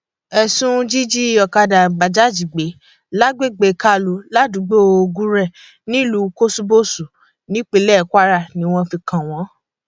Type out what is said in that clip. ẹsùn jíjí ọkadà bajaj gbé lágbègbè kaulu ládùúgbò gure nílùú kòṣùbọsù nípínlẹ kwara ni wọn fi kàn wọn